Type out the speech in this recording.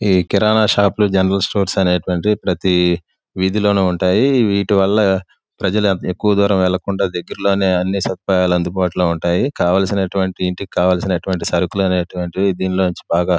ఈ కిరానా షాప్ లు general stores అనేవి ప్రతి వీధిలోనుంటాయి. వీటివల్ల ప్రజలు ఎక్కువ దూరం వెళ్లకుండా దగ్గర్లోనే సదుపాయాలు అందుబాటు లో ఉంటాయి. కావాల్సినటువంటి ఇంటికి కావాల్సినటు వంటి సరుకులు అనేటటువంటివి ధేన్గాలోంచి బాగా--